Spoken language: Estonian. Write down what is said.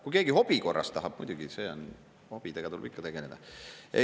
Kui keegi hobi korras tahab, siis muidugi, hobidega tuleb ikka tegeleda.